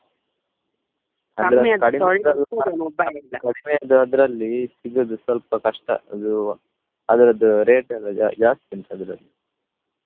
ಕಡಿಮೆದ್ದು ಅದ್ರಲ್ಲಿ ಸಿಗುದು ಸ್ವಲ್ಪ ಕಷ್ಟ ಅದು ಅದ್ರದ್ದು rate ಎಲ್ಲ ಜಾ~ ಜಾಸ್ತಿ ಉಂಟು ಅದ್ರಲ್ಲಿ.